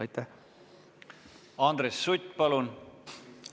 Andres Sutt, palun!